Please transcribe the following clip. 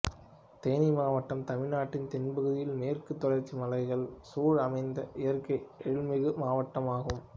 தேனி மாவட்டம் தமிழ்நாட்டின் தென்பகுதியில் மேற்கு தொடர்ச்சிமலைகள் சூழ அமைந்த இயற்கை எழில்மிகு மாவட்டம் ஆகும்